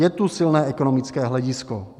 Je tu silné ekonomické hledisko.